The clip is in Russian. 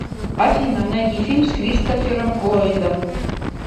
афина найди фильм с кристофером ллойдом